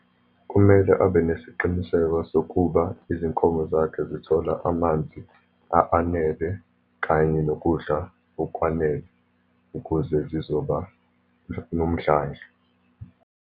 Kumele abe nesiqiniseko sokuba izinkomo zakhe zithola amanzi anele, kanye nokudla okwanele ukuze zizoba nomdlandla.